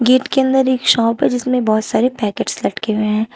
Gate के अंदर एक शॉप है जिसमे बहुत सारे पैकेट्स लटके हुए हैं।